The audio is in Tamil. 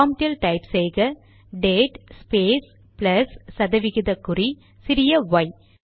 ப்ராம்ட்டில் டைப் செய்க டேட் ஸ்பேஸ் ப்ளஸ் சதவிகித குறி சிறிய ஒய்